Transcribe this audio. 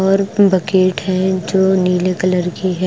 और बकेट है जो नीले कलर की है।